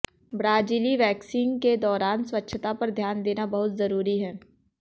ब्राज़िली waxing के दौरान स्वच्छता पर ध्यान देना बहुत जरूरी है